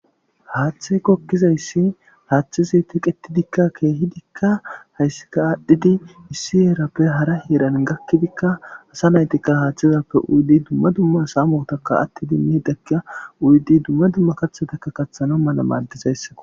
Haathey gogizaysi hathezi teqetidika kehidika haysappe adhidi issi heerappe hara hera gakida asa naytika uyidi duma duma sameka uyidi samota tana mala madizaysako